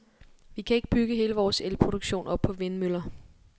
Vi kan ikke bygge hele vores elproduktion op på vindmøller.